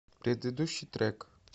предыдущий трек